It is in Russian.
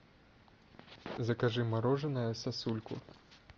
закажи мороженое сосульку